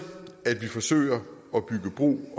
at vi forsøger at bygge bro